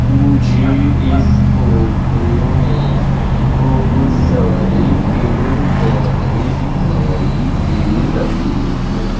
मुझे इस फोटो में बहुत सारे पेड़ पौधे दिखाई दे रहे हैं।